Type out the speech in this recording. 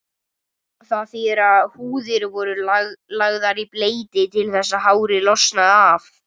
Það þýðir að húðir voru lagðar í bleyti til þess að hárið losnaði af.